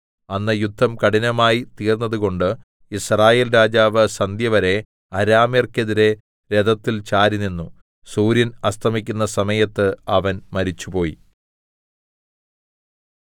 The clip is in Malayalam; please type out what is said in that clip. അന്ന് യുദ്ധം കഠിനമായി തീർന്നതുകൊണ്ട് യിസ്രായേൽ രാജാവ് സന്ധ്യവരെ അരാമ്യർക്കെതിരെ രഥത്തിൽ ചാരി നിന്നു സൂര്യൻ അസ്തമിക്കുന്ന സമയത്ത് അവൻ മരിച്ചുപോയി